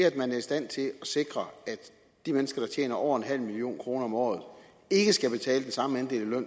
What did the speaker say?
at man er i stand til at sikre at de mennesker der tjener over nul million kroner om året ikke skal betale den samme andel af